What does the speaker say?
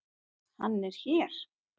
Hann er hér.